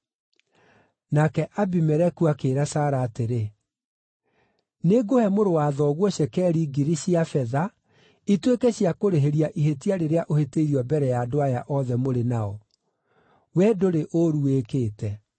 Nake Abimeleku akĩĩra Sara atĩrĩ, “Nĩngũhe mũrũ-wa-thoguo cekeri 1,000 cia betha ituĩke cia kũrĩhĩria ihĩtia rĩrĩa ũhĩtĩirio mbere ya andũ aya othe mũrĩ nao; we ndũrĩ ũũru wĩkĩte.”